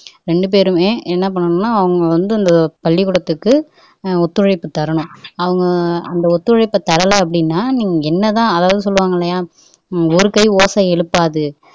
ரெண்டுபேருமே என்ன பண்ணனும்னா அவங்க வந்து அந்த பள்ளிகூடத்துக்கு ஒத்துழைப்பு தரனும் அவங்க அந்த ஒத்துழைப்பை தரலை அப்படின்னா நீங்க என்னதான் ஒருகை ஓசை எழுப்பாது